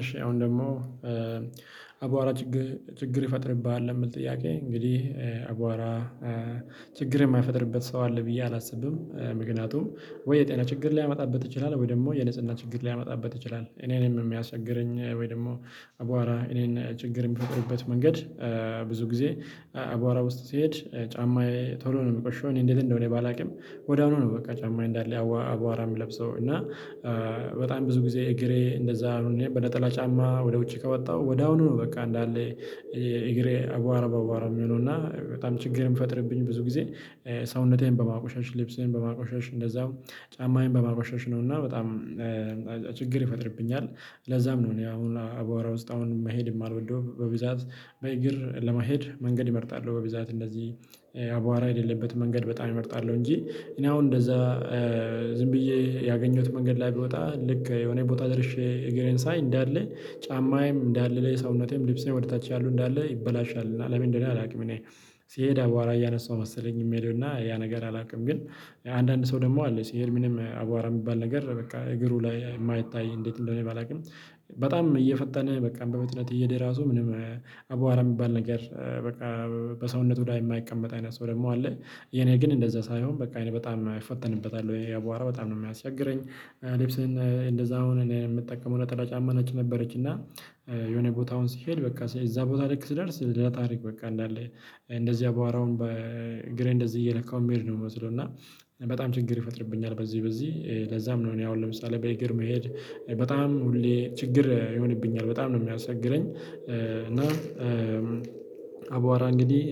እሺ አሁን ደግሞ አቧራ ችግር ይፈጥርብሃል የምል ጥያቄ? እንግዲህ አቧራ ችግር የማይፈጠርበት ሰው አለ ብዬ አላስብም። ምክንያቱም ወይ የጤና ችግር ሊያመጣበት ይችላል ወይ ደግሞ የንጽህና ችግር ሊያመጣበት ይችላል። እኔንም የሚያስቸግረኝ ወይ ደግሞ አቧራ እኔን ችግር የሚያደርግበት መንገድ ብዙ ጊዜ አባራ ውስጥ ሲሄድ ጫማዬ ቶሎ ነው የምቆሽሸው። እኔ እንዴት እንደሆነ ባላውቅም ወደ አሁኑ ነው በቃ ጫማ እንዳለ አቧራ የምለብሰው እና። በጣም ብዙ ጊዜ እግሬ እንደዛ በነጠላ ጫማ ወደ ውጪ ከወጣሁ ወደ አሁኑ ነው በቃ እንዳለ። እግሬ አቧራ በአቧራ የሚሉና እና በጣም ችግር የሚፈጥርብኝ ብዙ ጊዜ ሰውነቴን በማቆሸሽ ልብሴን በማቆሸሽ እንደዛው ጫማዬን በማቆሸሽ ነውና በጣም ችግር ይፈጥርብኛል። ለዛም ነው እኔ አሁን አባወራ ውስጥ አሁን መሄድ የማልወደው በብዛት በእግር ለመሄድ መንገድ ይመርጣሉ በብዛት እንደዚህ አቧራ የሌለበት መንገድ በጣም እመርጣለሁ። እንጂ እኔ አሁን እንደዛ ዝም ብዬ ያገኘሁት መንገድ ላይ ቢወጣ ልክ የሆነ ቦታ ደርሼ እግሬን ሳይ እንዳለ ጫማዬም እንዳለ ለሰውነቴም ልብስም ወደ ታች ያሉ እንዳለይበላሻሉ ለምን እንደሆነ አላውቅም። እኔ ሲሄድ አበዋራ እያነሳሁ መሰለኝ የሚሄዱና ያ ነገር አላውቅም። ግን አንዳንድ ሰው ደግሞ አለ ሲሄል ምንም አቧራ የሚባል ነገር በቃ እግሩ ላይ የማይታይ እንዴት እንደሆነ ባላውቅም በጣም እየፈጠነ በቃ በፍጥነት እየሄደ ራሱ ምንም አቧራ የሚባል ነገር በቃ በሰውነቱ ላይ የማይቀመጥ አይነት ሰው ደግሞ አለ። የኔ ግን እንደዛ ሳይሆን በቃ አይነት በጣም አይፈተንበታል ወይ የቧራ በጣም ነው የሚያስቸግረኝ። ልብስህን እንደዛ አሁን እኔ የምጠቀመው ነጠላ ጫማ ነች ነበረች እና የሆነ ቦታውን ሲሄድ በቃ እዛ ቦታ ልክ ስደርስ ለታሪክ በቃ እንዳለ እንደዚህ አባዋራውን በእግሬ እንደዚህ እየለካው የሚሄድ ነው የምመስለው። እና በጣም ችግር ይፈጥርብኛል በዚህ በዚህ ለዛም ነው እኔ አሁን ለምሳሌ በኢግር መሄድ በጣም ሁሌ ችግር ይሆንብኛል በጣም ነው የሚያስተግረኝ እና። አቧራ እንግዲህ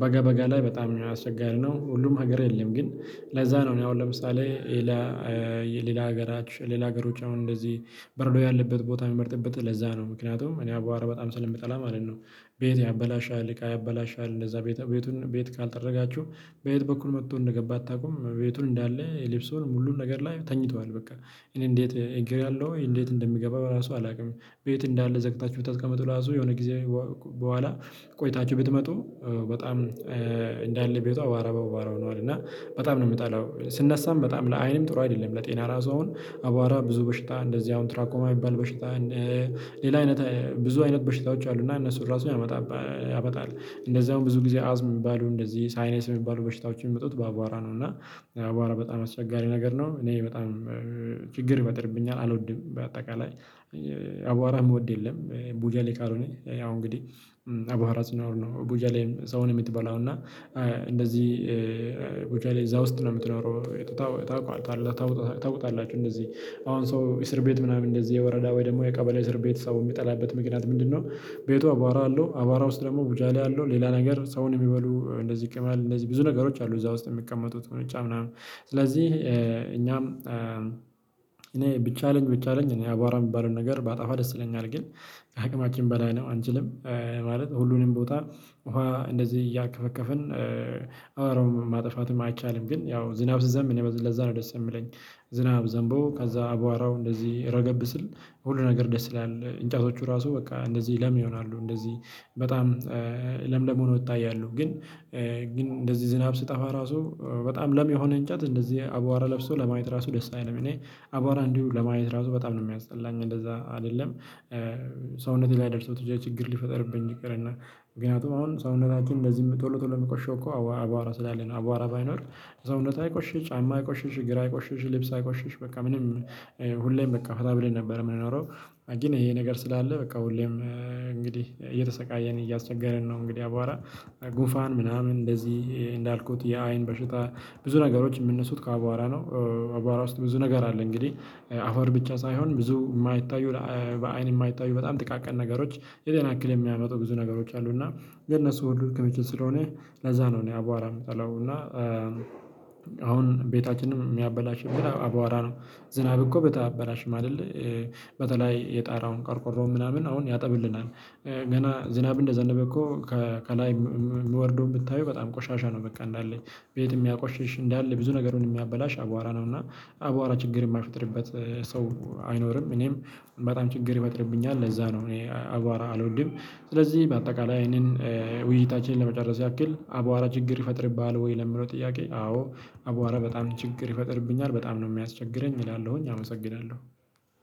በጋ በጋ ላይ በጣም አስቸጋሪ ነው ሁሉም ሀገር የለም። ግን ለዛ ነው እኔ አሁን ለምሳሌ ሌላ ሌላ ሀገራችን ሌላ ሀገሮች አሁን እንደዚህ በረዶ ያለበት ቦታ የሚመርጥበት ለዛ ነው ምክንያቱም እኔ አቧራ በጣም ስለምጠላ ማለት ነው። ቤት ያበላሻል እቃ ያበላሻል እንደዛ ቤቱን ቤት ካልጠረጋቹህ በየት በኩል መጥቶ እንደገባ አታውቁም ቤቱን እንዳለ የልብሱን ሙሉን ነገር ላይ ተኝተዋል። በቃ እኔ እንዴት እግር ያለው እንዴት እንደሚገባ በራሱ አላውቅም። ቤት እንዳለ ዘግታችሁ ብታስቀምጡ ራሱ የሆነ ጊዜ በኋላ ቆይታችሁ ብትመጡ በጣም እንዳለ ቤቱ አቧራ በአቧራ ሆኗል። እና በጣም ነው የምጠላው። ስነሳም በጣም ለአይንም ጥሩ አይደለም ለጤና ራሱ አሁን አቧራ ብዙ በሽታ እንደዚህ አሁን ትራክ የማይባል በሽታ ሌላ አይነት ብዙ አይነት በሽታዎች አሉና እነሱን ራሱ ያመጣል። እንደዛ ብዙ ጊዜ አዝ የሚባሉ እንደዚህ ሳይኔስ የሚባሉ በሽታዎችን የሚመጡት በአቧራ ነው። እና አቧራ በጣም አስቸጋሪ ነገር ነው። እኔ በጣም ችግር ይፈጥርብኛል አልወድም በአጠቃላይ አቧራ የምወድ የለም። ቡጃሌ ቃል ያው እንግዲህ አቧራ ሲኖር ነው ቡጃሌም ሰውን የምትበላው እና እንደዚህ ቡጃሌ እዛ ውስጥ ነው የምትኖረው ታውቃለህ? ታውቃለህ እንደዚህ አሁን ሰው እስር ቤት ምናምን እንደዚህ የወረዳ ወይ ደግሞ የቀበሌ እስር ቤት ሰው የሚጠላበት ምክንያት ምንድነው? ቤቷ አቧራ አለው አቧራ ውስጥ ደግሞ ቡጄሌ ላይ አለው ሌላ ነገር ሰውን የሚበሉ እንደዚህ ቅመል እንደዚህ ብዙ ነገሮች አሉ። እዛ ውስጥ የሚቀመጡት ቁንጫ ምናምን ስለዚህ እኛም እኔ ብቻ አለኝ ብቻ አለኝ እኔ አቧራ የሚባለውን ነገር በአጣፋ ደስ ይለኛል። ግን አቅማችን በላይ ነው አንችልም። ማለት ሁሉንም ቦታ ውሃ እንደዚህ እያርከፈከፍን አቧራውን ማጥፋትም አይቻልም። ግን ያው ዝናብ ስንዘም እኔ ለዛ ነው ደስ የምለኝ። ዝናብ ዘምቦ ከዛ አቧራው እንደዚህ ረገብ ስል ሁሉ ነገር ደስ ይላል እንጫቶቹ ራሱ በቃ እንደዚህ ለም ይሆናሉ። እንደዚህ በጣም ለምለም ሆኖ ወጣ ያሉ ግን ግን እንደዚህ ዝናብ ስጠፋ ራሱ በጣም ለም የሆነ እንጨት እንደዚህ አቧራ ለብሶ ለማየት ራሱ ደስ አይልም። እኔ አቧራ እንዲሁ ለማየት ራሱ በጣም ነው የሚያስጠላኝ እንደዛ አይደለም። ሰውነቴ ላይ ደርሰው ትቼ ችግር ሊፈጠርብኝ ችግር እና ምክንያቱም አሁን ሰውነታችን እንደዚህ ቶሎ ቶሎ የሚቆሽሸው እኮ አባራ ስላለን አባራ ባይኖር ሰውነት አይቆሽሽ ጫማ አይቆሽሽ ግራ ቆሽሽ ልብስ አይቆሽሽ በቃ ምንም ሁሌም በቃ ፈታ ብለን ነበር የምንኖረው። ግን ይሄ ነገር ስላለ በቃ ሁሌም እንግዲህ እየተሰቃየን እያሰቸገረን ነው። እንግዲህ አቧራ ጉፋን ምናምን እንደዚህ እንዳልኩት ያ አይን በሽታ ብዙ ነገሮች የምነሱት ከአቧራ ነው። አቧራ ውስጥ ብዙ ነገር አለ። እንግዲህ አፈር ብቻ ሳይሆን ብዙ የማይታዩ በአይን የማይታዩ በጣም ጥቃቅን ነገሮች የሌላ ያክል የሚያመጡ ብዙ ነገሮች አሉ። እና የነሱ ሁሉ ክምችት ስለሆነ ለዛ ነው እኔ አቧራ የምጠላው እና አሁን ቤታችንን የሚያበላሽብን በራ አበዋራ ነው። ዝናብ እኮ ቤት አያበላሽም አይደል? በተለይ የጣራውን ቆርቆሮ ምናምን አሁን ያጠብልናል። ገና ዝናብ እንደዘነበ እኮ ከላይ የምወርደው የምታየው በጣም ቆሻሻ ነው። በቃ እንዳለኝ ቤት የሚያቆሽሽ እንዳለ ብዙ ነገር ምን የሚያበላሽ አቧራ ነው። እና አቧራ ችግር የማይፈጥርበት ሰው አይኖርም። እኔም በጣም ችግር ይፈጥርብኛል ለዛ ነው እኔ አቧራ አልወድም። ስለዚህ በአጠቃላይ ይህንን ውይይታችንን ለመጨረስ ያክል አቧራ ችግር ይፈጥርብሃል? ወይ ለምለው ጥያቄ አዎ። አቧራ በጣም ችግር ይፈጥርብኛል በጣም ነው የሚያስቸግረኝ እላለሁኝ አመሰግናለሁ።